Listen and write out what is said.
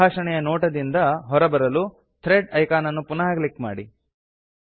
ಸಂಭಾಷಣೆಯ ನೋಟದಿಂದ ಹೊರಗೆ ಬರಲು ಥ್ರೆಡ್ ಐಕಾನ್ ಅನ್ನು ಪುನಃ ಕ್ಲಿಕ್ ಮಾಡಿ